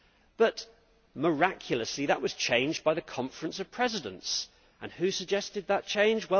But miraculously that was changed by the Conference of Presidents and who suggested that change?